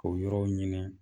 O yɔrɔ ɲini